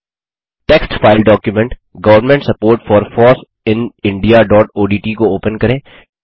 text file document government support for foss in indiaओडीटी को open करें